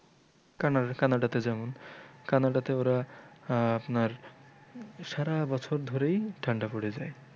Canada Canada তে যেমন Canada তে ওরা আহ আপনার সারা বছর ধরেই ঠাণ্ডা পড়ে যায়।